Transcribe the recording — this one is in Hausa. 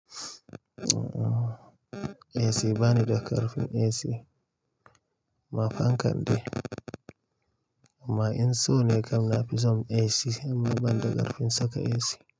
AC bani da ƙarfin AC, amma fankan dai, amma in so ne kam na fi son AC amma ban da ƙarfin saka AC.